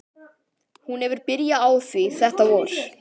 Hún hefur byrjað á því þetta vor.